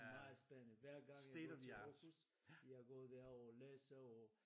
Meget spændende hver gang jeg går til Aarhus jeg går derover og læser og